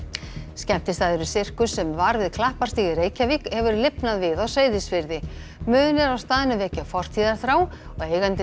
skemmtistaðurinn Sirkus sem var við Klapparstíg í Reykjavík hefur lifnað við á Seyðisfirði munir á staðnum vekja fortíðarþrá og eigandinn